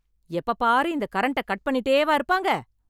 எப்பப் பாரு இந்த கரண்ட்ட கட் பண்ணிட்டே வா இருப்பாங்க?